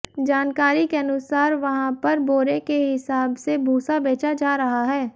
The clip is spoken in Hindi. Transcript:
जानकारी के अनुसार वहां पर बोरे के हिसाब से भूसा बेचा जा रहा है